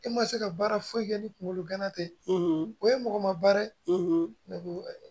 E ma se ka baara foyi kɛ ni kunkolo gana tɛ o ye mɔgɔ ma baara ne ko